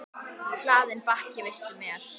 Hlaðinn bakki vistum er.